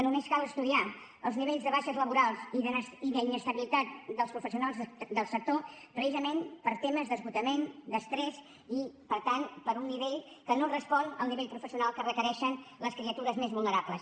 només cal estudiar els nivells de baixes laborals i d’inestabilitat dels professionals del sector precisament per temes d’esgotament d’estrès per tant uns nivells que no responen al nivell professional que requereixen les criatures més vulnerables